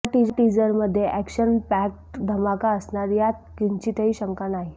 या टीजरमध्ये action packed धमाका असणार यात किंचितही शंका नाही